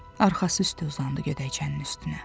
Arxası üstü uzandı gödəkcənin üstünə.